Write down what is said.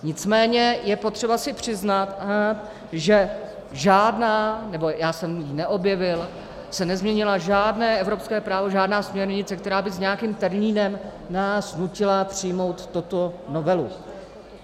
Nicméně je potřeba si přiznat, že žádná, nebo já jsem ji neobjevil, se nezměnilo žádné evropské právo, žádná směrnice, která by s nějakým termínem nás nutila přijmout tuto novelu.